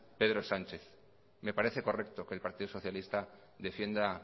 pedro sánchez me parece correcto que el partido socialista defienda